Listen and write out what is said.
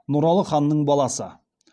нұралы ханның баласы